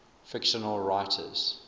fictional writers